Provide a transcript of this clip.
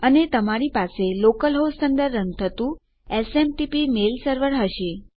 અને તમારી પાસે લોકલ હોસ્ટ અંદર રન થતું એસએમટીપી મેલ સર્વર હશે